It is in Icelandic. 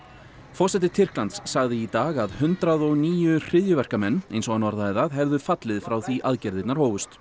forseti Tyrklands sagði í dag að hundrað og níu hryðjuverkamenn eins og hann orðaði það hefðu fallið frá því aðgerðirnar hófust